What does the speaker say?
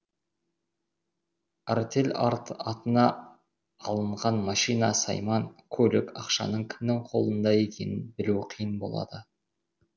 артель атына алынған машина сайман көлік ақшаның кімнің қолында екенін білу